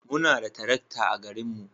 Muna da tarakta a garinmu.